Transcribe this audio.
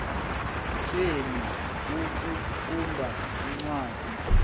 senu ukufunda incwadi